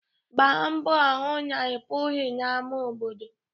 Gbaa mbọ hụ na ịpụghị n'ámá obodo.